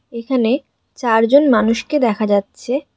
এখানে চারজন মানুষকে দেখা যাচ্ছে।